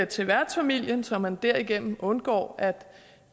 til værtsfamilien så man derigennem undgår